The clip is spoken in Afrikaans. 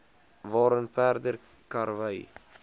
waarin perde karwy